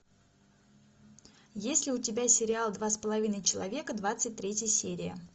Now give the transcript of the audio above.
есть ли у тебя сериал два с половиной человека двадцать третья серия